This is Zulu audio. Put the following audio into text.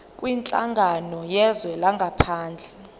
kwinhlangano yezwe langaphandle